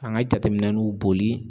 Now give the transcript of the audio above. An ŋa jateminɛnunw boli